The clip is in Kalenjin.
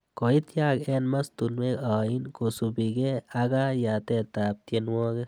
Koityak eng mastunwek ain kosubeki aka yatetab tienwogik